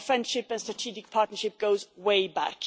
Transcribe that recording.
and our friendship and strategic partnership goes way back.